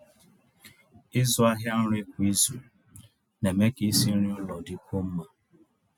ị̀zụ́ àhịa nrí kwá ízù ná-èmé kà ísi nrí n'ụ́lọ̀ dị́kwúó mmá.